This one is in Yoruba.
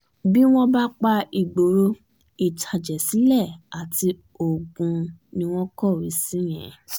bí wọ́n bá pa ìgboro ìtàjẹ̀sílẹ̀ àti ogun ni wọ́n ń kọ̀wé sí yẹn